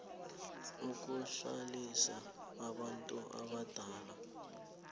yokuhlalisa abantu abadala